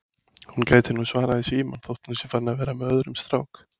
Hún gæti nú svarað í símann þótt hún sé farin að vera með öðrum strák